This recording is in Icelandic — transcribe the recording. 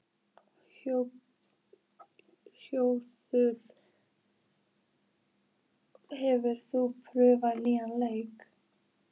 Hjörtþór, hefur þú prófað nýja leikinn?